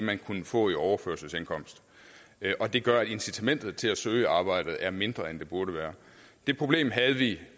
man kunne få i overførselsindkomst det gør at incitamentet til at søge arbejdet er mindre end det burde være det problem havde vi